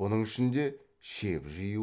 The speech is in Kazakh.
бұның ішінде шеп жию